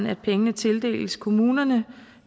at pengene tildeles kommunerne